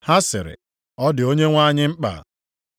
Ha sịrị, “Ọ dị Onyenwe anyị mkpa.”